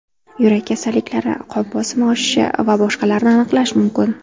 Yurak kasalliklari, qon bosimi oshishi va boshqalarni aniqlash mumkin.